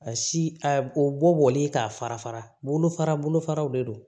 A si a bɔli k'a fara fara bolofara bolofaraw de don